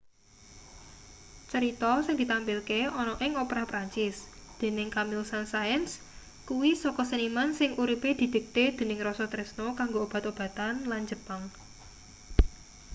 cerita sing ditampilke ana ing opera perancis dening camille saint-saens kuwi saka seniman sing uripe didikte dening rasa tresna kanggo obat-obatan lan jepang